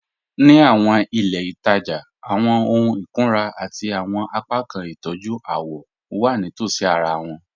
Ní àwọn ilẹ̀-itaja, àwọn òhùn ìkùnrà àti àwọn apákan ìtọ́jú àwọ̀ wà nítòsí àrà wọn.